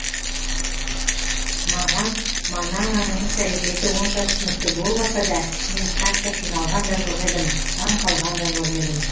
маған манананың іс әрекеті онша түсінікті болмаса да мен қатты қиналған да жоқ едім таңқалған да жоқ едім